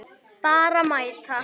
Bara mæta.